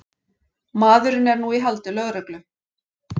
Maðurinn er nú í haldi lögreglu